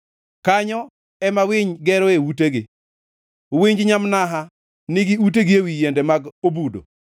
Kanyo ema winy geroe utegi, winj nyamnaha nigi utegi ewi yiende mag obudo.